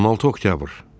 16 oktyabr.